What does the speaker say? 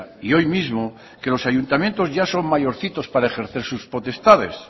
y hoy mismo que los ayuntamientos ya son mayorcitos para ejercer sus potestades